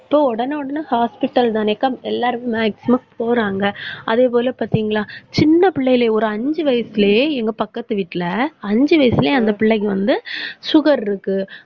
so உடனே உடனே hospital தானேக்கா எல்லாருமே maximum போறாங்க அதே போல பார்த்தீங்களா? சின்ன பிள்ளைகளை, ஒரு அஞ்சு வயசுலயே எங்க பக்கத்து வீட்ல அஞ்சு வயசுலயே அந்த பிள்ளைக்கு வந்து sugar இருக்கு.